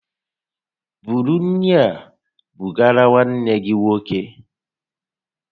Búrú nri a bugara nwanne gị nwoke!